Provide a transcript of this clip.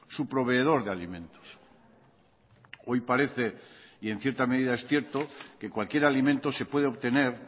su proveedor de alimentos hoy parece y en cierta medida es cierto que cualquier alimento se puede obtener